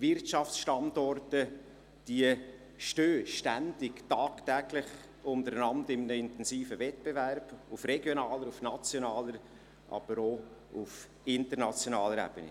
Wirtschaftsstandorte stehen ständig, tagtäglich untereinander in einem intensiven Wettbewerb – auf regionaler, nationaler, aber auch auf internationaler Ebene;